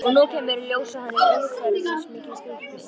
Og nú kemur í ljós að hann er umsvifamikill fíkni